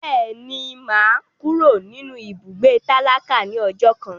Bẹ́ẹ̀ni, mo máa kúrò nínú ibùgbé tálákà ní ọjọ́ kan.